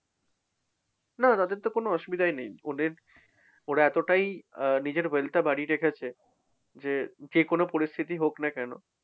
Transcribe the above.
না তাদেরতো কোন অসুবিধাই নেই। ওদের ওরা এতটাই আহ নিজের wealth টা বাড়িয়ে রেখেছে যে, যেকোনো পরিস্থিতিই হোক না কেন?